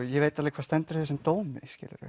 ég veit alveg hvað stendur í þessum dómi